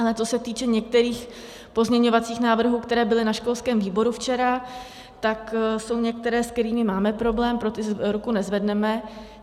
Ale co se týče některých pozměňovacích návrhů, které byly na školském výboru včera, tak jsou některé, s kterými máme problém, pro ty ruku nezvedneme.